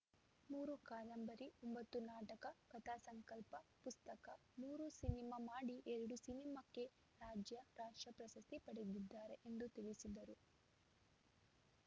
ಮೂರು ಕಾದಂಬರಿ ಒಂಬತ್ತು ನಾಟಕ ಕಥಾಸಂಕಲ್ಪ ಪುಸ್ತಕ ಮೂರು ಸಿನಿಮಾ ಮಾಡಿ ಎರಡು ಸಿನಿಮಾಕ್ಕೆ ರಾಜ್ಯ ರಾಷ್ಟ್ರ ಪ್ರಶಸ್ತಿ ಪಡೆದಿದ್ದಾರೆ ಎಂದು ತಿಳಿಸಿದರು